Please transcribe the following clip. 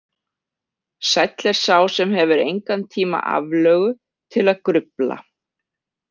Sæll er sá sem hefur engan tíma aflögu til að grufla.